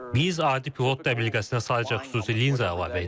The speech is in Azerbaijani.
Biz adi pilot təbəlliyəsinə sadəcə xüsusi linza əlavə edirik.